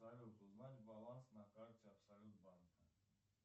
салют узнать баланс на карте абсолют банка